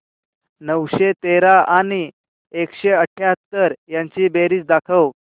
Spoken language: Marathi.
नऊशे तेरा आणि एकशे अठयाहत्तर यांची बेरीज दाखव